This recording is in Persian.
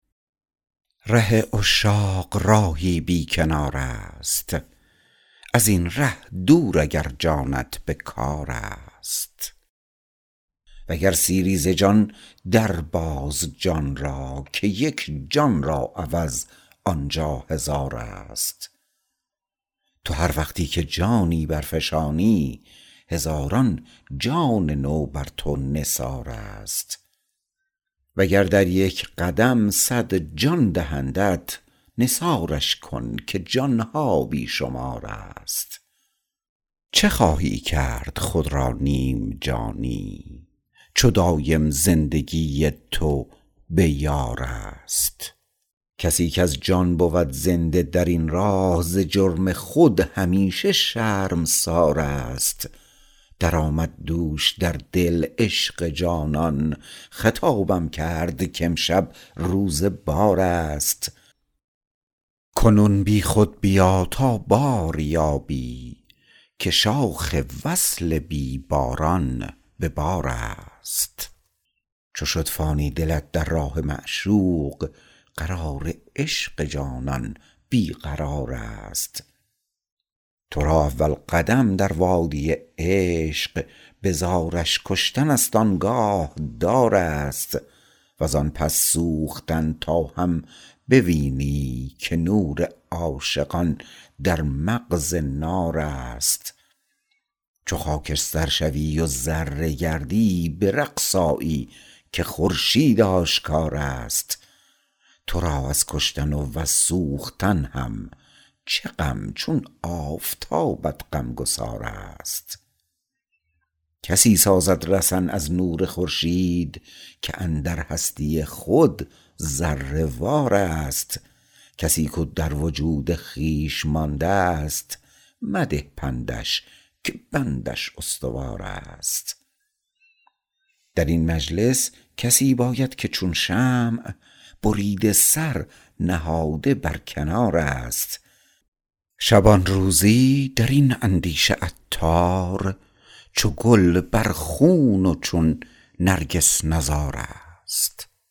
ره عشاق راهی بی کنار است ازین ره دور اگر جانت به کار است وگر سیری ز جان در باز جان را که یک جان را عوض آنجا هزار است تو هر وقتی که جانی برفشانی هزاران جان نو بر تو نثار است وگر در یک قدم صد جان دهندت نثارش کن که جان ها بی شمار است چه خواهی کرد خود را نیم جانی چو دایم زندگی تو به بار است کسی کز جان بود زنده درین راه ز جرم خود همیشه شرمسار است درآمد دوش در دل عشق جانان خطابم کرد کامشب روز بار است کنون بی خود بیا تا بار یابی که شاخ وصل بی باران به بار است چو شد فانی دلت در راه معشوق قرار عشق جانان بی قرار است تو را اول قدم در وادی عشق به زارش کشتن است آنگاه دار است وزان پس سوختن تا هم بوینی که نور عاشقان در مغز نار است چو خاکستر شوی و ذره گردی به رقص آیی که خورشید آشکار است تو را از کشتن و وز سوختن هم چه غم چون آفتابت غمگسار است کسی سازد رسن از نور خورشید که اندر هستی خود ذره وار است کسی کو در وجود خویش ماندست مده پندش که بندش استوار است درین مجلس کسی باید که چون شمع بریده سر نهاده بر کنار است شبانروزی درین اندیشه عطار چو گل پر خون و چون نرگس نزار است